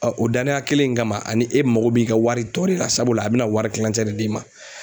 o danaya kelen in kama ani e mago b'i ka wari tɔ de la sabula a bɛna wari tilancɛ de d'i ma